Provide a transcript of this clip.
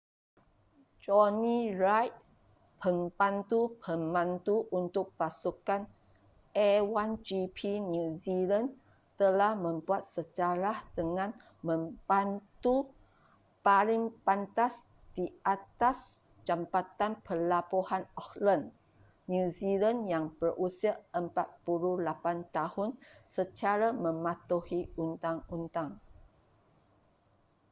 jonny reid pembantu pemandu untuk pasukan a1gp new zealand telah membuat sejarah dengan memandu paling pantas di atas jambatan pelabuhan auckland new zealand yang berusia 48 tahun secara mematuhi undang-undang